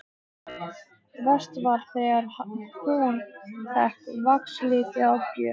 Verst var þegar hún fékk vaxliti að gjöf.